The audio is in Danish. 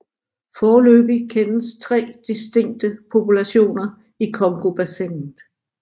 Foreløbig kendes tre distinkte populationer i Congobassinet